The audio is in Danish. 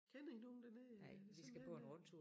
Kender I nogen dernede eller det simpelthen øh